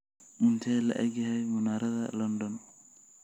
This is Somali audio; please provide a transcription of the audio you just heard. intee le'eg yahay munaaradda london